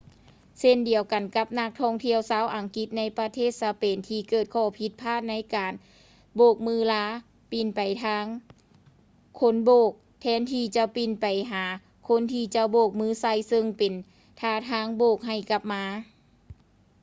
ເຊັ່ນດຽວກັນກັບນັກທ່ອງທ່ຽວຊາວອັງກິດໃນປະເທດສະເປນທີ່ເກີດຂໍ້ຜິດພາດໃນການໂບກມືລາປິ່ນໄປທາງຄົນໂບກ ແທນທີ່ຈະປິ່ນໄປຫາຄົນທີ່ຈະໂບກມືໃສ່ ເຊິ່ງເປັນທ່າທາງບອກໃຫ້ກັບມາ